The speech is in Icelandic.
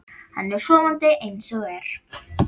Hann er sofandi eins og er.